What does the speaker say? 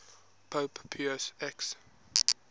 pope pius x